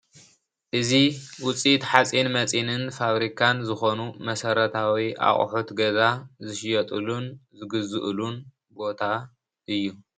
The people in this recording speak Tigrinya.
እዚ ውፅኢት ሓፂነ መፂንን ፋብሪካን ዝኮኑ መሰረታዊ ኣቅሑት ገዛ ዝሽየጥሉን ዝግዝኡልን ቦታ እዩ፡፡